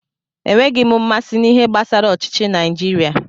Enweghị m mmasị na-ihe gbasara ọchịchi Naijiria.